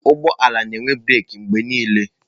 Ụgbọ ala na-enwe breeki mgbe niile.